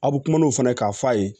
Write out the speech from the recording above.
A bɛ kuma n'o fana k'a f'a ye